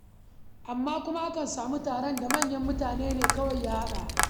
Amma kuma akan samu taron da manyan mutane kawai ya haɗa.